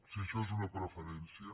si això és una preferència